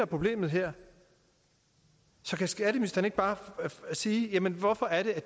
problemet her så kan skatteministeren ikke bare sige jamen hvorfor er det at